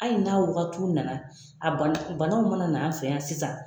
Hali n'a wagati nana, a banaw banaw mana na, an fɛ yan sisan